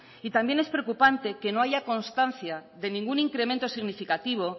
y también es preocupante que no haya constancia de ningún incremento significativo